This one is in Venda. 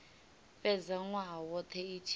fhedza nwaha wothe i tshi